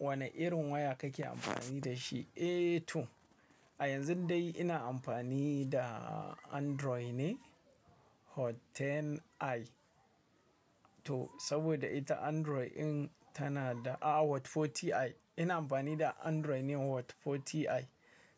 Wane irin waya kake amfani da shi? A yanzu dai ina amfani da Android ne Hot 10i. To saboda ita Android in tana da-- a, Hot 40i. Ina amfani da Android ne Hot 40i.